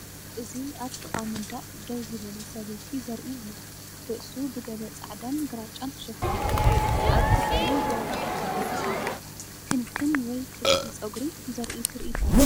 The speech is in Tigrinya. እዚ ኣብ ጥቓ መንደቕ ደው ዝበለ ሰበይቲ ዘርኢ እዩ። ርእሱ ብገለ ጻዕዳን ግራጭን ተሸፊኑ። ኣብ ትሕቲኡ ግራጭ ጨርቂ ተሰሪዑ፡ ክንክን ወይ ቅዲ ጸጉሪ ዘርኢ ትርኢት እዩ።